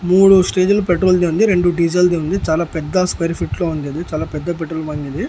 మూడు స్టేజీలు పెట్రోల్ ది ఉంది రెండు డీజిల్ ది ఉంది చాలా పెద్ద స్క్వేర్ ఫీట్ లో ఉంది ఇది చాలా పెద్ద పెట్రోల్ బంక్ ఇది.